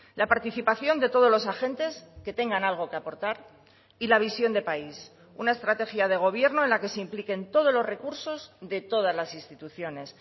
la participación de todos los agentes que tengan algo que aportar y la visión de país una estrategia de gobierno en la que se impliquen todos los recursos de todas las instituciones